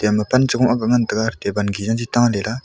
ama pan chong aga ngan taga taban kera ta lela.